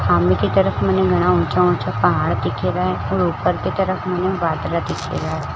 सामने की तरफ मने घना उचा उचा पहाड़ दिख रहा है और उपर की तरफ मने बदल दिख रा है।